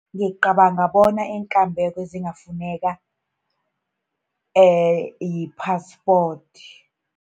Ngicabanga bona iinkambeko ezingafuneka yi-passport.